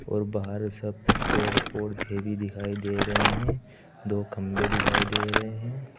और बाहर सब पेड़ पौधे भी दिखाई दे रहे हैं। दो खंबे दिखाई दे रहे हैं।